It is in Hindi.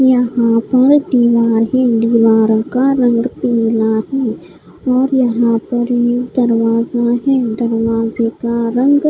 यहाँ पर दिवार है दीवारों का रंग पीला है और यहाँ पर एक दरवाजा है दरवाज़े का रंग--